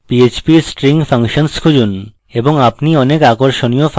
php string functions খুঁজুন এবং আপনি অনেক আকর্ষণীয় ফাংশন পাবেন